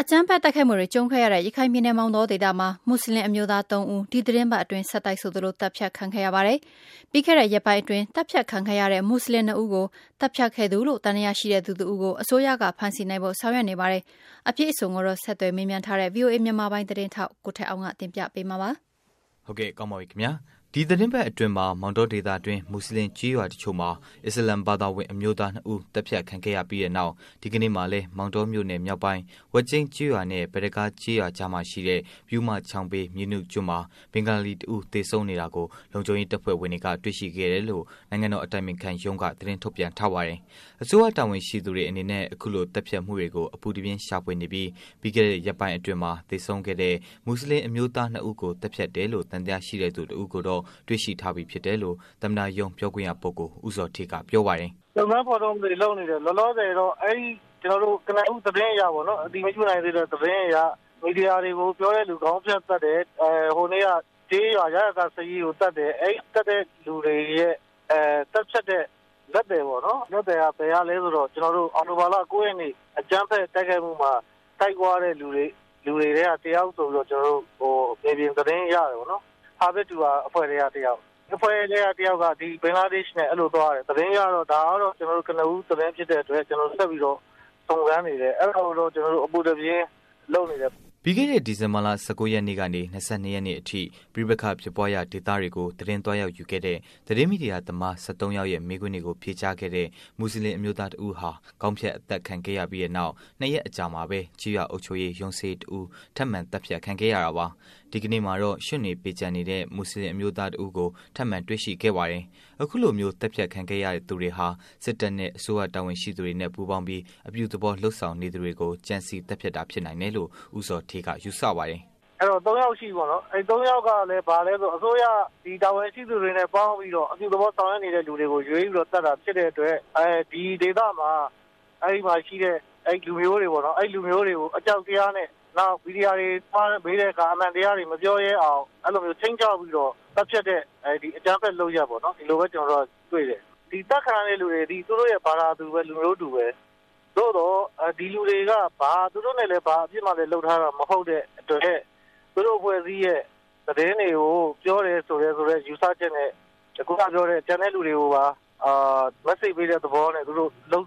အကြမ်းဖက်တိုက်ခိုက်မှုတွေ ကြုံခဲ့ရတဲ့ ရခိုင်ပြည်နယ် မောင်တောဒေသမှာ မူစလင်အမျိုးသား ၃ ဦး ဒီသတင်းပတ်အတွင်း ဆက်တိုက်ဆိုသလို သတ်ဖြတ်ခံခဲ့ရပါတယ်။ ပြီးခဲ့တဲ့ ရက်ပိုင်းအတွင်း သတ်ဖြတ်ခံခဲ့ရတဲ့ မွတ်ဆလင် နှစ်ဦးကို သတ်ဖြတ်ခဲ့တဲ့သူလို့ သံသယရှိတဲ့သူတစ်ဦးကို အစိုးရက ဖမ်ဆီးနိုင်ဖို့ ဆောင်ရွက်နေပါတယ်။ တွေ့ရှိထားပြီး အပြည့်အစုံကိုတော့ ဆက်သွယ်မေးမြန်းထားတဲ့ ဗွီအိုအေ မြန်မာပိုင်း သတင်းထောက် ကိုထက်အောင်က တင်ပြပေးမှာပါ။ ဒီသတင်းပတ်အတွင်းမှာ မောင်တောဒေသတွင်း မူစလင် ကျေးရွာ တစ်ချို့မှာ အစ္စလာမ်ဘာသာဝင် အမျိုးသား နှစ်ဦး သတ်ဖြတ်ခံခဲ့ရပြီးတဲ့နောက် ဒီကနေ့မှာလည်း မောင်တောမြို့နယ် မြောက်ပိုင်း ဝက်ကျိန်းကျေးရွာနဲ့ ဘဒကား ကျေးရွာကြားမှာရှိတဲ့ ပြုးမချောင်းဘေး မြေနုကျွန်းမှာ ဘင်္ဂါလီ တစ်ဦး သေဆုံးနေတာကို လုံခြုံရေး တပ်ဖွဲ့ဝင်တွေက တွေ့ရှိခဲ့တယ်လို့ နိုင်ငံတော် အတိုင်ပင်ခံရုံးက သတင်းထုတ်ပြန်ထားပါတယ်။ အစိုးရတာဝန်ရှိသူတွေအနေနဲ့ အခုလို သတ်ဖြတ်မှုတွေကို အပူတပြင်း ရှာဖွေနေပြီး ပြီးခဲ့တဲ့ ရက်ပိုင်းအတွင်းမှာ သေဆုံးခဲ့တဲ့ မူစလင် အမျိုးသား နှစ်ဦးကို သတ်ဖြတ်တယ်လို့ သံသယရှိတဲ့သူကို တွေ့ရှိထားပြီဖြစ်တယ်လို့ သမ္မတရုံး ပြောခွင့်ရ ပုဂ္ဂိုလ် ဦးဇော်ဌေးက ပြောပါတယ်။ “ရှာဖွေဖော်ထုတ်မှုတွေလုပ်နေတယ် လောလောဆယ်တော့ အဲဒီ ကနဦးသတင်းအရတော့ အတည်မပြုနိုင်သေးတဲ့ သတင်းအရ မီဒီယာတွေကို ပြောတဲ့လူတွေကို ခေါင်းဖြတ်သတ်တယ်။ ဟိုနေ့က ကျေးရွာစာရေးကိုသတ်တယ်။ အဲဒီသတ်တဲ့လူတွေရဲ့ သတ်ဖြတ်တဲ့ လက်သည်က ဘယ်ကလည်းဆိုတော့ ကျနော်တို့ အောက်တိုဘာလ ၉ ရက်နေ့ အကြမ်းဖက် တိုက်ခိုက်မှုမှာ လိုက်သွားတဲ့လူတွေအထဲက ၁ ယောက်ဆိုပြီးတော့ ကျနော်တို့ မြေပြင်သတင်းရတယ်ပေါ့နော်။ ဟာဘက်ဒူဟာ အဖွဲ့ထဲက တယောက် ၊ အဲဒီအဖွဲ့ထဲက တယောက်က ဘင်္ဂလားဒေ့ရှ်နဲ့ သွားတယ်။ သတင်းအရတော့ ဒါကတော့ ကျနော်တို့ ကနဦးသတင်းဖြစ်တဲ့အတွက် ကျနော်တို့ဆက်ပြီးစုံစမ်းနေတယ်။ အဲဒါကိုတော့ ကျနော်တို့ အပူတပြင်းလုပ်နေတယ်။” ပြီးခဲ့တဲ့ ဒီဇင်ဘာလ ၁၉ ရက်နေ့ကနေ ၂၂ ရက်နေ့အထိ ပဋိပက္ခဖြစ်ပွားရာဒေသတွေကို သတင်းသွားရောက်ယူခဲ့တဲ့ သတင်းမီဒီယာသမား ၁၃ ယောက်ရဲ့ မေးခွန်းတွေကို ဖြေကြားခဲ့တဲ့ မူစလင် အမျိုးသား တစ်ဦးက ခေါင်းဖြတ်အသတ်ခံခဲ့ရပြီး နောက် ၂ ရက်အကြာမှာ ကျေးရွာ အုပ်ချုပ်ရေး ရုံးစာရေး တစ်ဦး ထပ်မံ သတ်ဖြတ်ခံခဲ့ရတာပါ။ ဒီကနေ့မှာလည်း ရွံ့တွေ ပေကျံနေတဲ့ မူစလင် အမျိုးသား တစ်ဦးကို ထပ်မံ တွေ့ရှိခဲ့တာပါ။ အခုလိုမျိုး သတ်ဖြတ်ခံခဲ့ရသူတွေဟာ စစ်တပ်နဲ့ အစိုးရ တာဝန်ရှိသူတွေနဲ့ ပူးပေါင်းပြီး အပြုသဘော လုပ်ဆောင်နေသူတွေကို ကြံစည်သတ်ဖြတ်တာ ဖြစ်နိုင်တယ်လို့ ဦးဇော်ဌေးက ယူဆပါတယ်။ “အဲဒီတော့ ၃ ယောက်ရှိပြီပေါ့နော် ၊ အဲဒီ ၃ ယောက်ကလည်းဘာလဲဆိုတော့ တာဝန်ရှိသူတွေနဲ့ ပေါင်းပြီးတော့ အပြုသဘောဆောင်ရွက်နေတဲ့ လူတွေကိုရွေးပြီးတော့ သတ်တာဖြစ်တဲ့အတွက် ဒီဒေသမှာ အဲဒီမှာရှိတဲ့ လူမျိုးတွေပေါ့နော် ၊ အဲဒီလူမျိုးတွေကို အကြောက်တရားနဲ့ နောက်မီဒီယာတွေလာတဲ့အခါ အမှန်တရားတွေမပြောရဲအောင် အဲလိုမျိုးခြိမ်းခြောက်ပြီးတော့ သတ်ဖြတ်တဲ့ အကြမ်းဖက်လုပ်ရပ်ပေါ့နော် ဒီလိုပဲ ကျနော်တို့တွေ့တယ်။ ဒီအသတ်ခံရတဲ့ လူတွေသည် သူတို့ရဲ့ ဘာသာသူ၊ လူမျိုးတူပဲ။ သို့သော် ဒီလူတွေက သူတို့နဲ့ ဘာအပြစ်မှလုပ်ထားတာ မဟုတ်တဲ့အတွက် သူတို့အဖွဲ့အစည်းရဲ့ သတင်းတွေကို ပြောတယ်ဆိုတယ်ဆိုတဲ့ ယူဆချက်နဲ့ ခုနပြောတဲ့ ကျန်တဲ့လူတွေကိုပါ ပြစ်မှတ်ထားပြီးတော့ လုပ်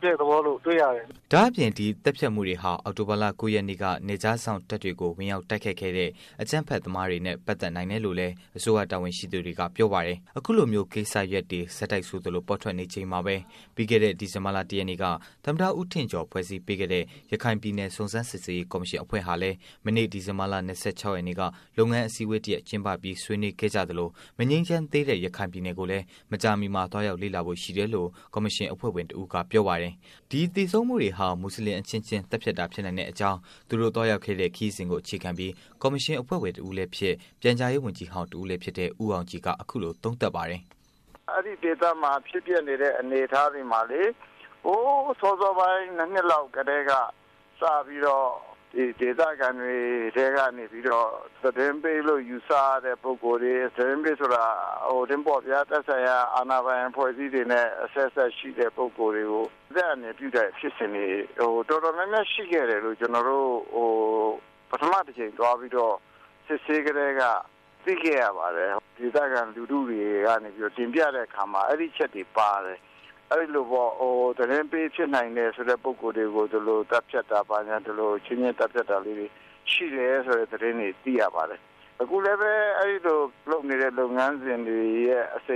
တဲ့သဘောတွေ့ရတယ်။” ဒါ့အပြင် ဒီသတ်ဖြတ်မှုတွေဟာ အောက်တိုဘာလ ၉ ရက်နေ့မှာ နယ်ခြားစောင့်တပ်တွေကို ဝင်ရောက်တိုက်ခိုက်ခဲ့တဲ့ အကြမ်းဖက်သမားတွေနဲ့ ပတ်သတ်နိုင်တယ်လို့လည်း အစိုးရ တာဝန်ရှိသူတွေက ပြောပါတယ်။ အခုလိုမျိုး ကိစ္စရပ်တွေ ဆက်တိုက်ဆိုသလို ပေါ်ထွက်နေချိန်မှာပဲ ပြီးခဲ့တဲ့ ဒီဇင်ဘာလ ၁ ရက်နေ့က သမ္မတ ဦးထင်ကျော် ဖွဲ့စည်းပေးခဲ့တဲ့ ရခိုင်ပြည်နယ်စုံစမ်းစစ်ဆေးရေး ကော်မရှင်အဖွဲ့ဟာလည်း မနေ့ ဒီဇင်ဘာလ ၂၆ ရက်နေ့က လုပ်ငန်းအစည်းအဝေးကျင်းပပြီး ဆွေးနွေးခဲ့ကြသလို မငြိမ်းချမ်းသေးတဲ့ ရခိုင်ပြည်နယ်ကိုလည်း မကြာမှီလည်း သွားရောက်လေ့လာဖို့ ရှိတယ်လို့ ကော်မရှင် အဖွဲ့ဝင် တစ်ဦးက ပြောပါတယ်။ ဒီသေဆုံးမှုတွေဟာ မူစလင် အချင်းချင်း သတ်ဖြတ်တာ ဖြစ်နိုင်တဲ့ အကြောင်း သူတို့ သွားရောက်ခဲ့တဲ့ ခရီးစဉ်ကို အခြေခံပြီး ကော်မရှင် အဖွဲ့ဝင် တစ်ဦးလည်းဖြစ် ပြန်ကြားရေး ဝန်ကြီးဟောင်းတစ်ဦးလည်း ဖြစ်တဲ့ ဦးအောင်ကြည်က အခုလို သုံးသပ်ပါတယ်။ “အဲဒီဒေသတွေမှာ ဖြစ်ပျက်နေတဲ့ အနေအထားတွေမှာ ဟိုစောစောပိုင်း ၂ နှစ်လောက်ကတည်းက စပြီးတော့ ဒေသခံတွေထဲကနေပြီးတော့ သတင်းပေးလို့ ယူဆရတဲ့ ပုဂ္ဂိုလ်တွေ ၊ သတင်းပေးဆိုတာ သက်ဆိုင်ရာ အာဏာပိုင် အဖွဲ့အစည်းတွေနဲ့ အဆက်အစပ်ရှိတဲ့ ပုဂ္ဂိုလ်တွေကို အသက်အန္တရာယ်ပြုတဲ့ ဖြစ်စဉ်တွေ တော်တော်များများ ရှိခဲ့တယ်လို့ ကျနော်တို့ ပထမအကြိမ်သွားပြီးတော့ စစ်ဆေးကတည်းက သိခဲ့ရပါတယ်။ ဒေသခံလူထုတွေကနေပြီးတော့ တင်ပြတဲ့အခါမှာ အဲဒီ အချက်တွေပါတယ်။ အဲဒီလိုပေါ့ သတင်းပေးနိုင်တယ်ဆိုတဲ့ ပုဂ္ဂိုလ်တွေကို ဒီလိုသတ်ဖြတ်တာ အချင်းချင်းသတ်ဖြတ်တာလေးတွေရှိတယ်။ ဆိုတဲ့သတင်းတွေသိရပါတယ်။ အခုလည်းပဲ အဲဒီလိုလုပ်နေတဲ့ လုပ်ငန်းစဉ်ရဲ့ အဆ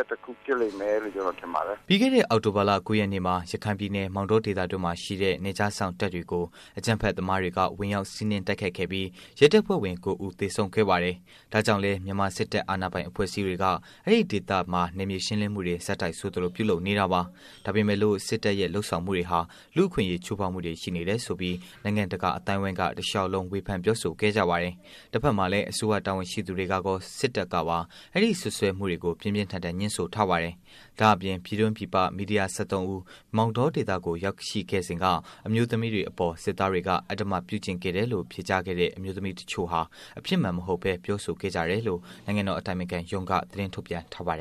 က်တခုဖြစ်လိမ့်မယ်လို့ ကျနော်ထင်ပါတယ်။” ပြီးခဲ့တဲ့ အောက်တိုဘာလ ၉ ရက်နေ့မှာ ရခိုင်ပြည်နယ် မောင်တောဒေသအတွင်းမှာ ရှိတဲ့ နယ်ခြားစောင့်တပ်တွေကို အကြမ်းဖက် သမားတွေက ဝင်ရောက်စီးနင်းတိုက်ခိုက်ခဲ့ပြီး ရဲတပ်ဖွဲ့ဝင် ၉ ဦး သေဆုံးခဲ့ပါတယ်။ ဒါကြောင့်လည်း မြန်မာ စစ်တပ်အာဏာပိုင် အဖွဲ့အစည်းတွေက အဲဒီ့ဒေသမှာ နယ်မြေရှင်းလင်းမှုတွေ ဆက်တိုက်ဆိုသလို ပြုလုပ်နေတာပါ။ ဒါပေမဲ့လို့ စစ်တပ်ရဲ့ လုပ်ဆောင်မှုတွေဟာ လူ့အခွင့်အရေး ချိုးဖောက်မှုတွေ ရှိနေတယ်ဆိုပြီး နိုင်ငံတကာ အသိုင်းအဝိုင်းက တစ်လျှောက်လုံး ဝေဖန်ပြောဆိုခဲ့ကြပါတယ်။ တစ်ဖက်မှာလည်း အစိုးရ တာဝန်ရှိသူတွေကကော စစ်တပ်ကပါ အဲဒီ့ စွပ်စွဲမှုတွေကို ပြင်းပြင်းထန်ထန် ငြင်းဆိုထားပါတယ်။ ဒါပေမဲ့လို့ ပြည်တွင်း ပြည်ပ မီဒီယာ ၁၃ ဦး မောင်တောဒေသကို ရောက်ရှိခဲ့စဉ်က အမျိုးသမီးတွေအပေါ် စစ်သားတွေက အဓမ္မ ပြုကျင့်ခဲ့တယ်လို့ ဖြေကြားခဲ့တဲ့ အမျိုးသမီးတစ်ချို့ဟာ အဖြစ်မှန်မဟုတ်ဘဲ ပြောဆိုခဲ့ကြတယ်လို့ နိုင်ငံတော် အတိုင်ပင်ခံရုံးက သတင်းထုတ်ပြန်ထားပါတယ်